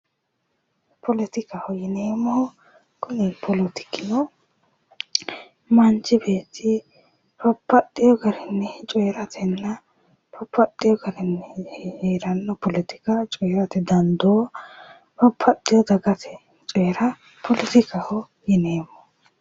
Politikaho yineemmohu kiluni poletiki manchi beetti babbaxewo garinni coyratenna heeranno politika coyrate dandoo babbaxewo dagate coyrate dandoo poletikaho yineemmo